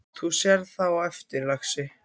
Þú sérð það á eftir, lagsi.